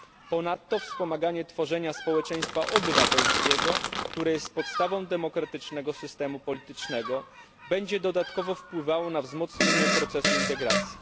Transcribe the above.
Ponadto wspomaganie tworzenia społeczeństwa obywatelskiego, które jest podstawą demokratycznego systemu politycznego, będzie dodatkowo wpływało na wzmocnienie procesu integracji.